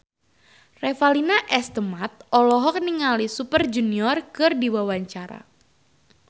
Revalina S. Temat olohok ningali Super Junior keur diwawancara